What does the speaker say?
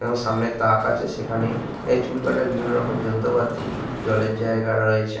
এবং সামনে তাক আছে সেখানে চুল কাটার বিভিন্ন রকম যন্ত্রপাতি জলের জায়গা রয়েছে।